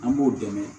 An b'o dɛmɛ